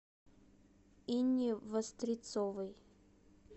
инне вострецовой